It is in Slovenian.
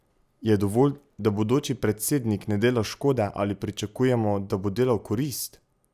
Je dovolj, da bodoči predsednik ne dela škode, ali pričakujemo, da bo delal korist?